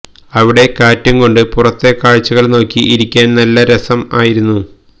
അവിടെ കാറ്റും കൊണ്ട് പുറത്തെ കാഴ്ചകള് നോക്കി ഇരിക്കാന് നല്ല രസം ആയിരുന്നു